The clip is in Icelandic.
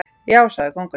Já, sagði kóngurinn.